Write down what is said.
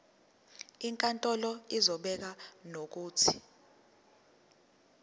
inkantolo izobeka nokuthi